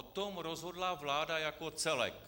O tom rozhodla vláda jako celek.